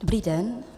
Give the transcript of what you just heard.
Dobrý den.